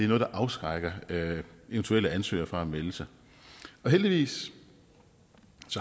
noget der afskrækker eventuelle ansøgere fra at melde sig heldigvis